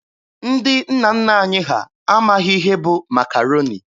Ndị nna nna anyị ha amaghị ihe bụ Makaroni.